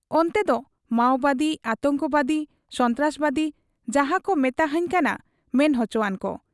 ᱚᱱᱛᱮᱫᱚ ᱢᱟᱣᱵᱟᱫᱤ, ᱟᱛᱚᱝᱠᱚ ᱵᱟᱫᱤ, ᱥᱚᱱᱛᱨᱟᱥᱵᱟᱫᱤ ᱡᱟᱦᱟᱸᱠᱚ ᱢᱮᱛᱟᱦᱟᱹᱧ ᱠᱟᱱᱟ ᱢᱮᱱ ᱚᱪᱚᱣᱟᱱ ᱠᱚ ᱾